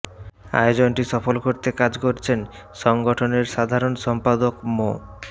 আয়োজনটি সফল করতে কাজ করেছেন সংগঠনের সাধারণ সম্পাদক মো